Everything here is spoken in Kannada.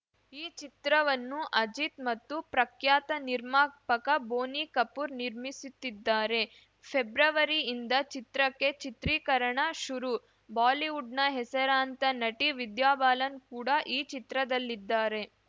ಈ ಚಿತ್ರವನ್ನು ಅಜಿತ್‌ ಮತ್ತು ಪ್ರಖ್ಯಾತ ನಿರ್ಮಾಪಕ ಬೋನಿ ಕಪೂರ್‌ ನಿರ್ಮಿಸುತ್ತಿದ್ದಾರೆ ಫೆಬ್ರವರಿಯಿಂದ ಚಿತ್ರಕ್ಕೆ ಚಿತ್ರೀಕರಣ ಶುರು ಬಾಲಿವುಡ್‌ನ ಹೆಸರಾಂತ ನಟಿ ವಿದ್ಯಾ ಬಾಲನ್‌ ಕೂಡ ಈ ಚಿತ್ರದಲ್ಲಿದ್ದಾರೆ